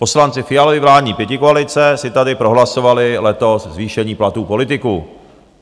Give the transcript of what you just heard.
Poslanci Fialovy vládní pětikoalice si tady prohlasovali letos zvýšení platů politiků.